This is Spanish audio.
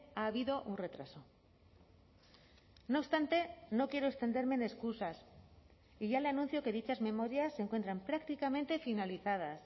ha habido un retraso no obstante no quiero extenderme en excusas y ya le anuncio que dichas memorias se encuentran prácticamente finalizadas